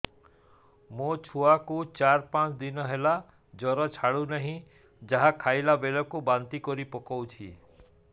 ମୋ ଛୁଆ କୁ ଚାର ପାଞ୍ଚ ଦିନ ହେଲା ଜର ଛାଡୁ ନାହିଁ ଯାହା ଖାଇଲା ବେଳକୁ ବାନ୍ତି କରି ପକଉଛି